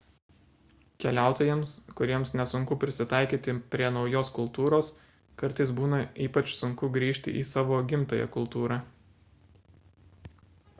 keliautojams kuriems nesunku prisitaikyti prie naujos kultūros kartais būna ypač sunku grįžti į savo gimtąją kultūrą